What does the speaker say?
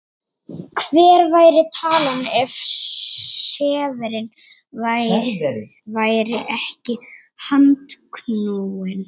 Hver væri talan ef serverinn væri ekki handknúinn?